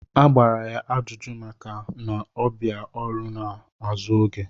A gbara ya ajụjụ maka ị na-abịa ọrụ n'azụ oge.